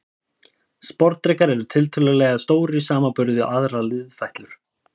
Sporðdrekar eru tiltölulega stórir í samanburði við aðrar liðfætlur.